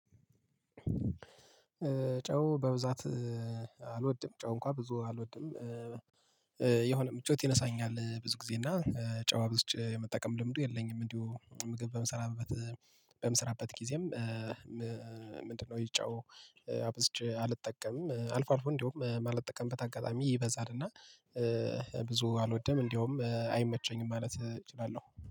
ጨው በብዛት አልወድም ጨው እንኳን ብዙ አልወድም። የሆነ ምቾት ይነሳኛል ብዙ ጊዜ እና ጨው ብዙ የምጠቀም ልምዱ የለኝም እንዲሁ ምግብ በምሰራበት በምሰራበት ጊዜም። ምንድነው? ጨው አብዝቼ አልጠቀምም። አልፎ አልፎ እንደውም ማለት ምጠቀምበት አጋጣሚ ይበዛልና። ብዙ አልወደም እንደውም አይመቸኝም ማለት እችላለሁ